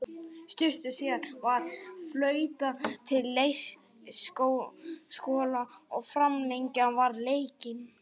Stuttu síðar var flautað til leiksloka og framlengja varð leikinn.